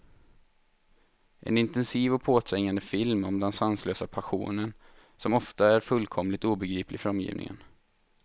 En intensiv och påträngande film om den sanslösa passionen, som ofta är fullkomligt obegriplig för omgivningen.